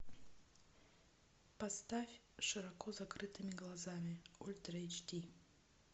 поставь с широко закрытыми глазами ультра эйч ди